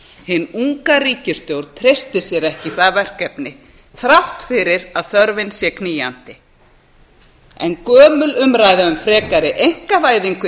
hin unga ríkisstjórn treystir sér ekki í það verkefni þrátt fyrir að þörfin sé knýjandi en gömul umræða um frekari einkavæðingu í